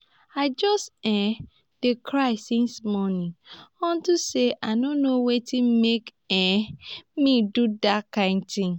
i just um dey cry since morning unto say i no know wetin make um me do dat kin thing